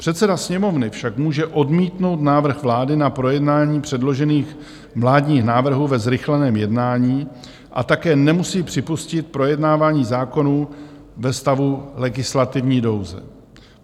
Předseda Sněmovny však může odmítnout návrh vlády na projednání předložených vládních návrhů ve zrychleném jednání a také nemusí připustit projednávání zákonů ve stavu legislativní nouze.